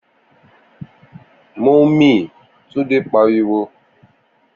Momi!' Túndé pariwo